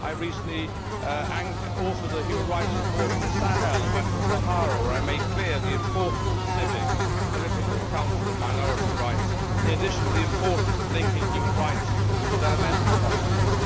I recently authored a human rights report on the Sahel in Western Sahara, where I made clear the importance of civic, political, cultural and minority rights, in addition to the importance of linking human rights with developmental policies.